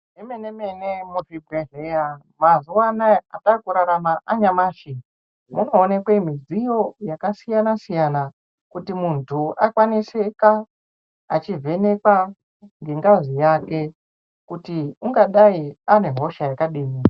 Zvemene mene muzvibhedhleya mazuwa anaya atakurarama anyamashi munoonekwe mudziyo yakasiyana siyana kuti muntu achanisika achivhenekwa ngengazi yakwe kuti ungadai ane hosha yakadini.